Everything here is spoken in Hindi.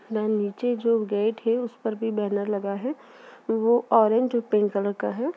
नीचे जो गेट है उसमे भी बैनर लगा हुआ है वो ऑरेंज और पिंक कलर का है।